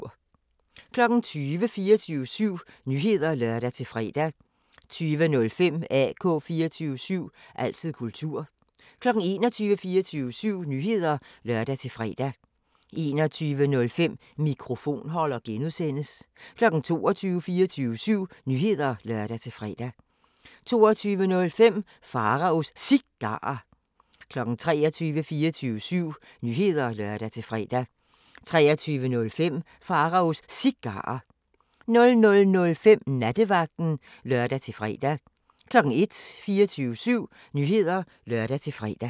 20:00: 24syv Nyheder (lør-fre) 20:05: AK 24syv – altid kultur 21:00: 24syv Nyheder (lør-fre) 21:05: Mikrofonholder (G) 22:00: 24syv Nyheder (lør-fre) 22:05: Pharaos Cigarer 23:00: 24syv Nyheder (lør-fre) 23:05: Pharaos Cigarer 00:05: Nattevagten (lør-fre) 01:00: 24syv Nyheder (lør-fre)